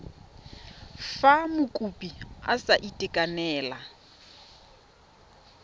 fa mokopi a sa itekanela